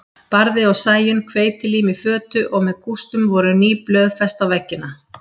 Barði og Sæunn hveitilím í fötu og með kústum voru ný blöð fest á veggina.